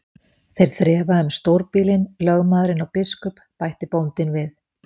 Þeir þrefa um stórbýlin, lögmaðurinn og biskup, bætti bóndinn við.